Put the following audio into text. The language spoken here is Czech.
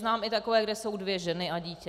Znám i takové, kde jsou dvě ženy a dítě.